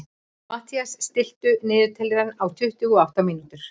Mathías, stilltu niðurteljara á tuttugu og átta mínútur.